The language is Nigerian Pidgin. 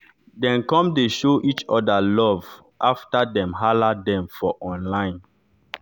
dem come dey show each orda love afta dem hala dem for online